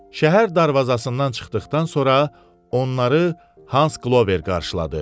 Şəhər darvazasından çıxdıqdan sonra onları Hans Qlover qarşıladı.